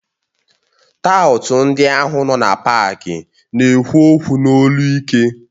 Taụt ndị ahụ nọ na pááki na-ekwu okwu n'olu ike